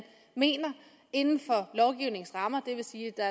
mener inden for lovgivningens rammer det vil sige at der